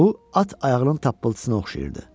Bu at ayağının tappıltısına oxşayırdı.